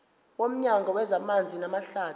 nomnyango wezamanzi namahlathi